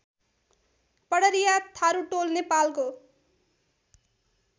पडरिया थारुटोल नेपालको